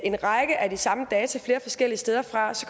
en række af de samme data flere forskellige steder fra